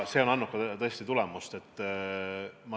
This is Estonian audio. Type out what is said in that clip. See on andnud tõesti ka tulemust.